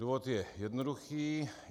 Důvod je jednoduchý.